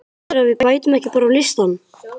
Heldurðu að við bætumst ekki bara á listann?